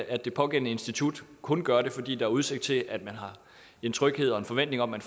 at det pågældende institut kun gør det fordi der er udsigt til at man har en tryghed og en forventning om at